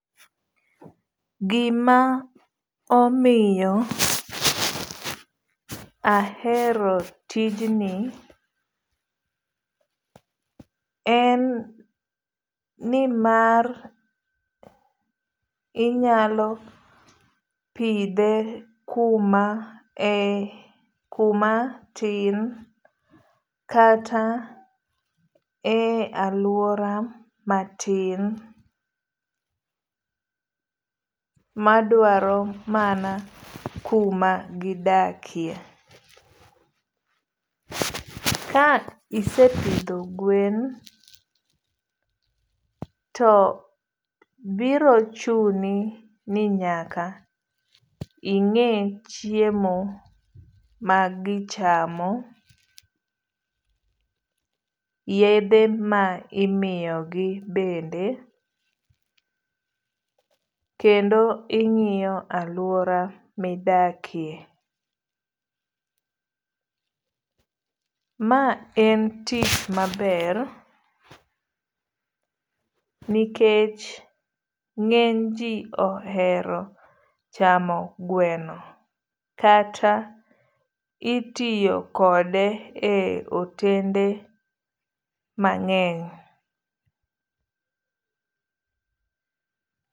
Gima omiyo ahero tijni en nimar inyalo pidhe kuma tin kata e aluora matin madwaro mana kuma gidakie. Ka isepidho gwen to biro chuni ni nyaka ing'e chiemo ma gichamo. Yedhe ma imiyo gi bende. Kendo ing'iyo aluora midakie. Ma en tich maber nikech ng'eny ji ohero chamo gweno kata itiyo kode e otende mang'eny.